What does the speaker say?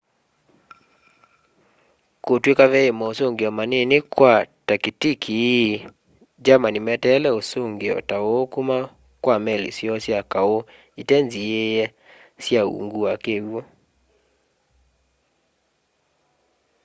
kutw'ika vei mosungio manini kwa takitiki ii germany meteele usungio ta uu kuma kwa meli syoo sya kau itenziîe sya ungu wa kiwu